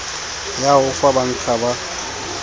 ya ho fa bangga ba